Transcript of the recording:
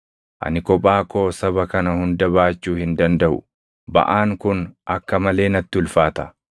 Ani kophaa koo saba kana hunda baachuu hin dandaʼu; baʼaan kun akka malee natti ulfaata.